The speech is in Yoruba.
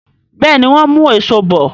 Béèni wón mú Èṣó bọ.